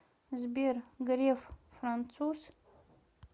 сбер греф француз